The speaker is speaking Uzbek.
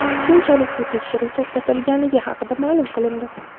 Keyinchalik bu tekshiruv to‘xtatilganligi haqida ma’lum qilindi.